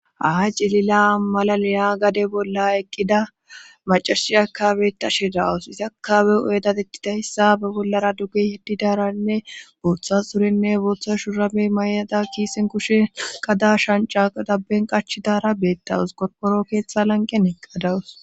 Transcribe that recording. aa cilila malaleya gade bolla eqqida macarashi akabey ta shidawus isiakawe uyedatetidayssa ba bollara duggi hiddidaaranne booththa surenne booththa shurame may7ada kiisen kushen kada shanca dabben qachidara beettawus qorporo keeththa lanqen eqqadawus